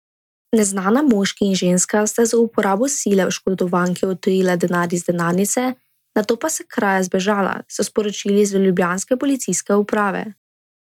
Neznana moški in ženska sta z uporabo sile oškodovanki odtujila denar iz denarnice, nato pa s kraja zbežala, so sporočili z ljubljanske policijske uprave.